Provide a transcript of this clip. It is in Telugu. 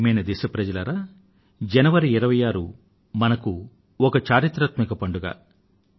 ప్రియమైన నా దేశ వాసులారా జనవరి 26 వ తేదీ మనకు ఒక చరిత్రాత్మకమైన పండుగ